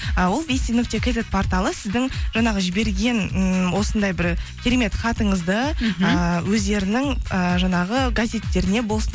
ы ол нүкте кизет порталы сіздің жаңағы жіберген ммм осындай бір керемет хатыңызды мхм ыыы өздерінің і жаңағы газеттеріне болсын